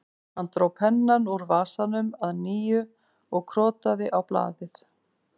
Hann dró pennann úr vasanum að nýju og krotaði á blaðið